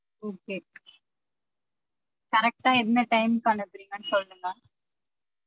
Okay correct ஆ என்ன time க்கு அனுப்புரிங்கனு சொல்லுங்க